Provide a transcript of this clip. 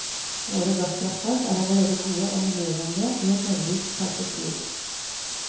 Våre gasskraftverk er allerede gode og miljøvennlige i et nordisk perspektiv.